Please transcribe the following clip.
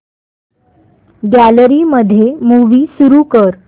gallery मध्ये movie सुरू कर